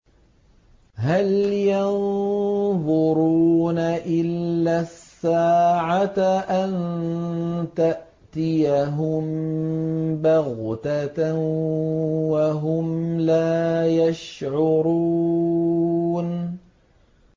هَلْ يَنظُرُونَ إِلَّا السَّاعَةَ أَن تَأْتِيَهُم بَغْتَةً وَهُمْ لَا يَشْعُرُونَ